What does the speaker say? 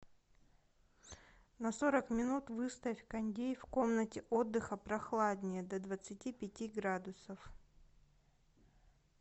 на сорок минут выставь кондей в комнате отдыха прохладнее до двадцати пяти градусов